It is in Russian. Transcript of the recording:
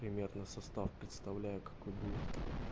примерно состав представляю какой будет